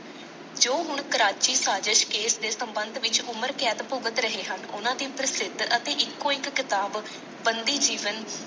ਜੋ ਹੁਣ ਕਰਾਚੀ ਸਾਜਿਸ਼ ਕੇਸ ਦੇ ਸੰਬੰਧ ਵਿਚ ਉਮਰ ਕੈਦ ਭੁਗਤ ਰਹੇ ਹਨ ਉਹਨਾਂ ਦੀ ਪ੍ਰਸਿੱਧ ਅਤੇ ਇੱਕੋ ਇਕ ਕਿਤਾਬ ਬੰਦੀ ਜੀਵਨ।